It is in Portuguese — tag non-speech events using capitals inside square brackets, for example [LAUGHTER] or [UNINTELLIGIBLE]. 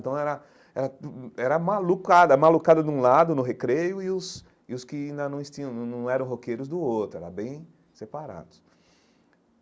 Então, era era [UNINTELLIGIBLE] era malucada, malucada de um lado, no recreio, e os e os que ainda não eh tinham não não eram roqueiros do outro, eram bem separados.